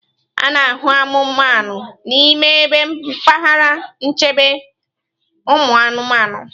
A na-ahụ anụmanụ n'ime ebe mpaghara nchekwa ụmụanụmanụ.